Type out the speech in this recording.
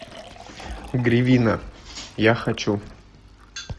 гривина я хочу